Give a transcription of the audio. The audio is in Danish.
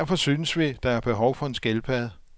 Derfor synes vi, der er behov for en skildpadde.